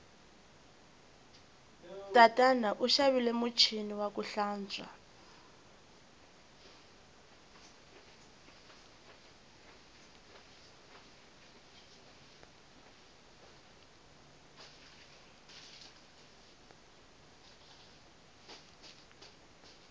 tatana u xavile muchini waku hlantswa